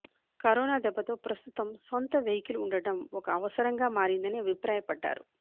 corona దెబ్బతో ప్రస్తుతం సొంత వెహికల్ ఉండడం ఒక అవసరంగా మారిందని అభిప్రాయపడ్డారు